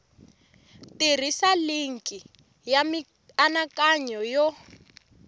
tirhisa linki ya mianakanyo yo